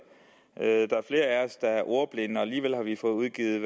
ordblinde og alligevel har vi fået udgivet